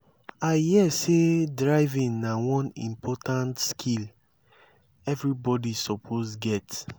i hear sey driving na one important skill everybody suppose get.